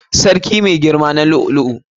Sarki mai girama na da lu'u lu'u.